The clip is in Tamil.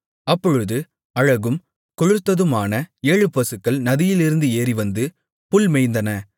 அப்பொழுது அழகும் கொழுத்ததுமான ஏழு பசுக்கள் நதியிலிருந்து ஏறிவந்து புல் மேய்ந்தன